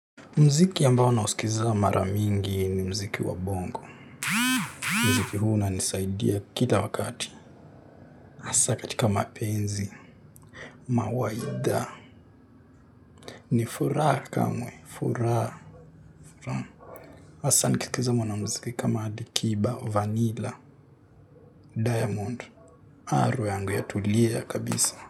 Mziki ambao naosikiza mara mingi ni mziki wa bongo. Mziki huwa ina nisaidia kila wakati. Hasa katika mapenzi. Mawaidha. Ni furaha kamwe. Furaha. Hasa nikiskiza mwana mziki kama alikiba au vanila. Diamond. Roho yangu ya tulia kabisa.